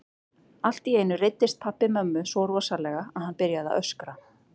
Allt í einu reiddist pabbi mömmu svo rosalega að hann byrjaði að öskra.